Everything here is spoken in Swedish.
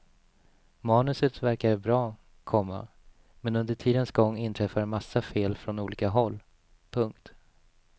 Manuset verkade bra, komma men under tidens gång inträffade massa fel från olika håll. punkt